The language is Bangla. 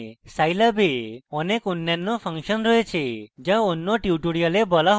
scilab এ অনেক অন্যান্য ফাংশন রয়েছে যা অন্য tutorials বলা হবে